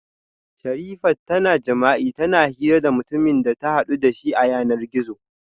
Sherifat tana jima'i tana hira da mutumin da ta hadu dashi a yanar gizo